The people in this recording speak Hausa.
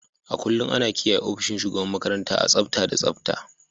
A kullum ana kiyaye ofishin shugaban makaranta a tsafta da tsabta.